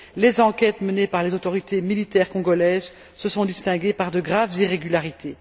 Les enquêtes menées par les autorités militaires congolaises se sont distinguées par de graves irrégularités.